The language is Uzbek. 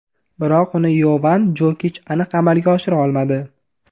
Biroq uni Yovan Jokich aniq amalga oshira olmadi.